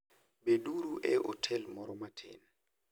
Beduru e otel moro matin.